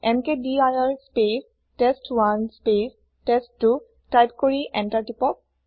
এমকেডিৰ space test one space test two type কৰি enter টিপক